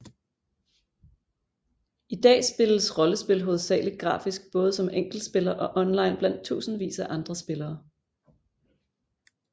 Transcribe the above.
I dag spilles rollespil hovedsageligt grafisk både som enkeltspiller og online blandt tusindvis af andre spillere